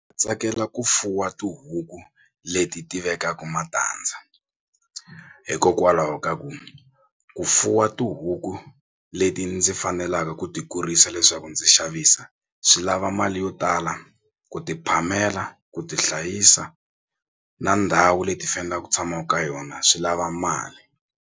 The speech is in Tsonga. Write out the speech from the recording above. Tsakela ku fuwa tihuku leti ti vekaku matandza hikokwalaho ka ku ku fuwa tihuku leti ndzi fanelaka ku ti kurisa leswaku ndzi xavisa swi lava mali yo tala ku ti phamela ku ti hlayisa na ndhawu leti fanelaku ku tshamaku ka yona swi lava mali.